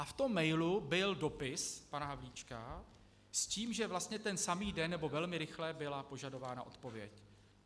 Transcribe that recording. A v tom mailu byl dopis pana Havlíčka s tím, že vlastně ten samý den nebo velmi rychle byla požadována odpověď.